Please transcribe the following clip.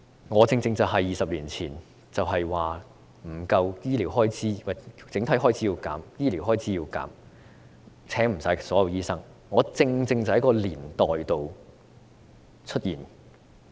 我正正是在20年前要削減整體開支、削減醫療開支、不能聘請所有醫科畢業生的那個年代畢業。